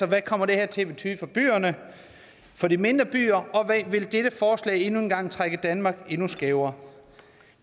hvad kommer det her til at betyde for byerne for de mindre byer og vil dette forslag endnu en gang trække danmark endnu skævere